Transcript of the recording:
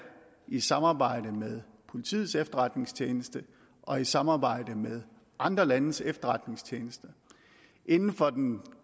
i samarbejde med politiets efterretningstjeneste og i samarbejde med andre landes efterretningstjenester inden for den